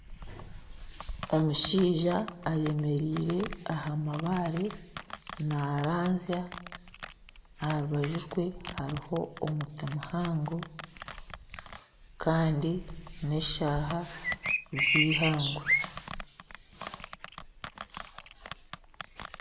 Omushaija ayemereire aha mabaare naaranzya. Aha rubaju rwe hariho omuti muhango Kandi n'eshaaha zeihangwe.